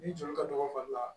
Ni joli ka dɔgɔ fali la